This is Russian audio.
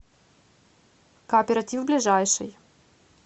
кооператив ближайший